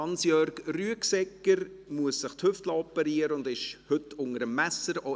Hans-Jörg Rüegsegger muss die Hüfte operieren lassen und ist heute unter dem Messer.